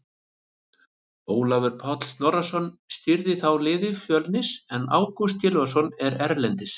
Ólafur Páll Snorrason stýrði þá liði Fjölnis en Ágúst Gylfason er erlendis.